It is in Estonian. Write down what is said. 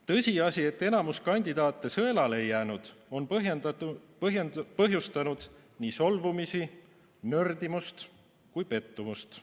Tõsiasi, et enamus kandidaate sõelale ei jäänud, on põhjustanud nii solvumist, nördimust kui ka pettumust.